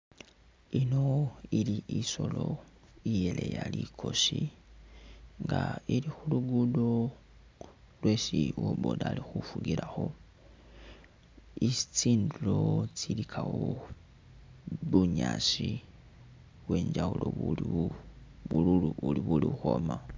Ino ili isoolo iyeleya likosi nga ili khu lugudo lwesi uwo boda ali khufugilakho ,isi tsindulo tsilikawo bunyaasi bwenjawulo buliwo buli uri buli ukhwoma